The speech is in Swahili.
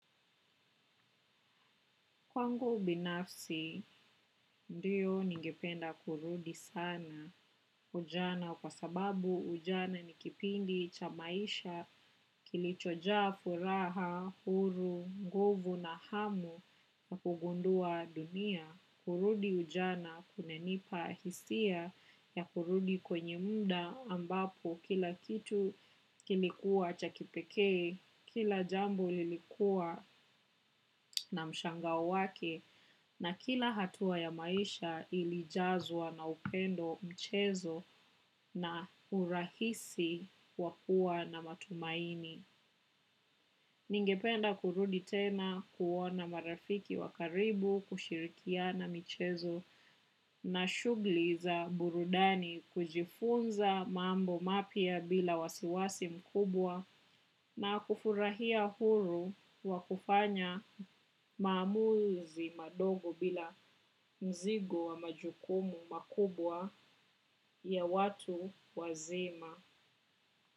Kwangu binafsi, ndio ningependa kurudi sana ujana kwa sababu ujana nikipindi chamaisha kilichojaa furaha, huru, nguvu na hamu na kugundua dunia. Kurudi ujana kunanipa hisia ya kurudi kwenye muda ambapo kila kitu kilikuwa chakipekee, kila jambo lilikuwa na mshangao wake, na kila hatua ya maisha ilijazwa na upendo mchezo na urahisi wakuwa na matumaini. Ningependa kurudi tena kuona marafiki wakaribu kushirikiana michezo na shughuli za burudani kujifunza mambo mapya bila wasiwasi mkubwa na kufurahia huru wakufanya maamuzi madogo bila mzigo wa majukumu makubwa ya watu wazima.